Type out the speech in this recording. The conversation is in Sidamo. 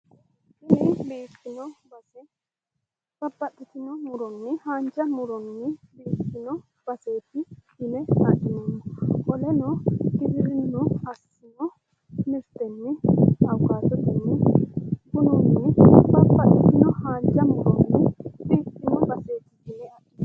Tini biiffino base babbaxxitino muronni haanja muronni biiffino baseeti yine adhinaneemmo qoleno giwirinnu assino mirtenni awukaatotenni bununn babbaxxitino haanja muronni biifiino baseeti yine adhinanni.